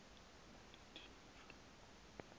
am ndithi tjhu